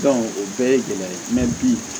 o bɛɛ ye gɛlɛya bi